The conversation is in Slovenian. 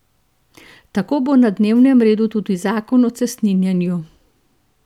Tako bo na dnevnem redu tudi zakon o cestninjenju.